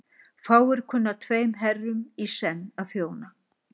Fáir kunna tveim herrum í senn að þjóna.